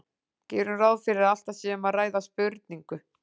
Gerum ráð fyrir að alltaf sé um að ræða spurningu.